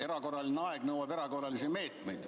Erakorraline aeg nõuab erakorralisi meetmeid.